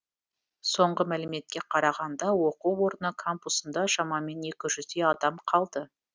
соңғы мәліметке қарағанда оқу орны кампусында шамамен екі жүздей адам қалды